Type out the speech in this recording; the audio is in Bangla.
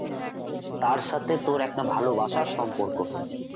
তার সাথে তোর একটা ভালোবাসার সম্পর্ক হয়েছে